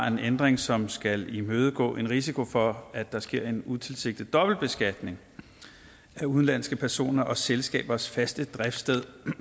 en ændring som skal imødegå en risiko for at der sker en utilsigtet dobbeltbeskatning af udenlandske personer og selskabers faste driftssted